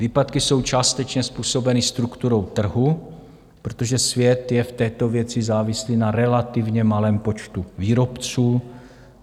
Výpadky jsou částečně způsobeny strukturou trhu, protože svět je v této věci závislý na relativně malém počtu výrobců.